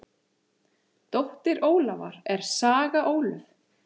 Dóttir Ólafar er Saga Ólöf.